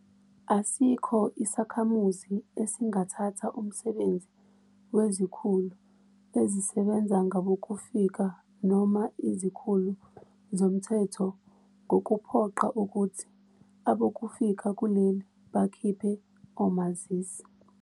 Asikho isakhamuzi esingathatha umsebenzi wezikhulu ezisebenza ngabokufika noma izikhulu zomthetho ngokuphoqa ukuthi abokufika kuleli bakhiphe omazisi.